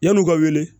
Yann'u ka wele